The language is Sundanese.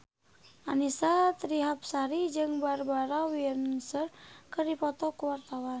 Annisa Trihapsari jeung Barbara Windsor keur dipoto ku wartawan